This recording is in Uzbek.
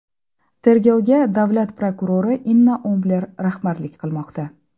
Tergovga davlat prokurori Inna Ombler rahbarlik qilmoqda.